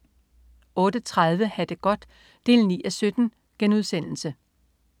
08.30 Ha' det godt 9:17*